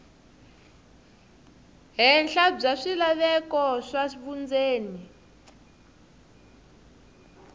henhla bya swilaveko swa vundzeni